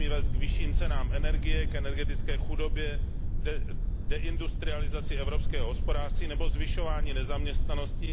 Nesmí vést k vyšším cenám energie, k energetické chudobě, deindustrializaci evropského hospodářství nebo ke zvyšování nezaměstnanosti.